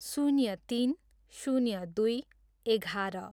शून्य तिन, शून्य दुई, एघार